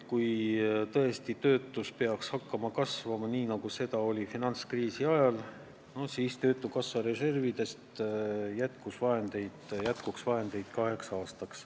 Kui töötus peaks tõesti hakkama kasvama nii nagu finantskriisi ajal, jätkuks töötukassa reservidest vahendeid kaheks aastaks.